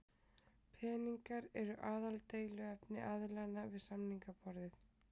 Peningar eru aðaldeiluefni aðilanna við samningaborðið